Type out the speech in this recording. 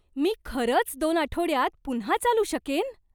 मी खरंच दोन आठवड्यांत पुन्हा चालू शकेन?